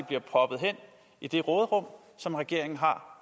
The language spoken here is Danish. bliver proppet hen i det råderum som regeringen har